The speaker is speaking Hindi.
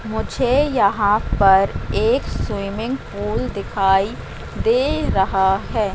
मुझे यहां पर एक स्विमिंग पूल दिखाई दे रहा है।